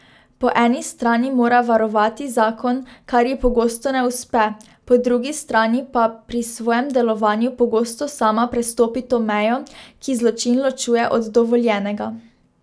Po eni strani mora varovati zakon, kar ji pogosto ne uspe, po drugi strani pa pri svojem delovanju pogosto sama prestopi to mejo, ki zločin ločuje od dovoljenega.